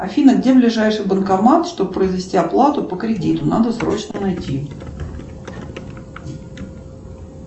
афина где ближайший банкомат чтобы произвести оплату по кредиту надо срочно найти